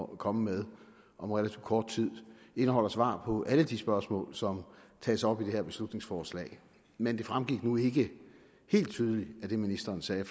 komme med om relativt kort tid indeholder svar på alle de spørgsmål som tages op i det her beslutningsforslag men det fremgik nu ikke helt tydeligt af det ministeren sagde i